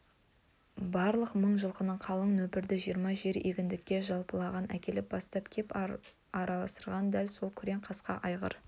барлық мың жылқылы қалың нөпірді жиырма жер егіндікке жалпағынан әкеліп бастап кеп араластырған да сол күрең қасқа айғыр